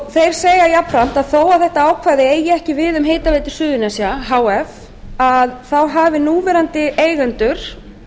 þeir segja jafnframt að þó að þetta ákvæði eigi ekki við um hitaveitu suðurnesja h f hafi núverandi eigendur